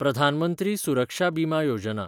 प्रधान मंत्री सुरक्षा बिमा योजना